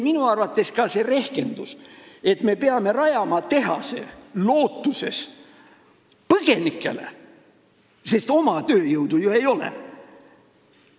Minu arvates ei ole õige see rehkendus, et me peame rajama tehase lootuses põgenikele, sest oma tööjõudu ju ei ole.